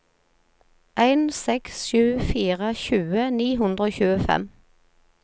en seks sju fire tjue ni hundre og tjuefem